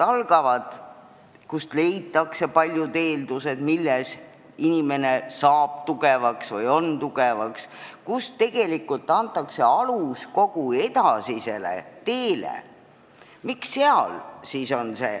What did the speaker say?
Alushariduses luuakse paljud eeldused sellele, et laps kasvab tugevaks, tegelikult pannakse seal alus kogu edasisele teele.